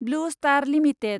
blue star limited